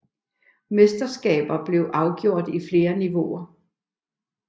Mesterskabet blev afgjort i flere niveauer